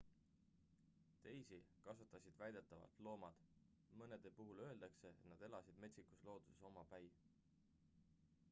teisi kasvatasid väidetavalt loomad mõnede puhul öeldakse et nad elasid metsikus looduses omapäi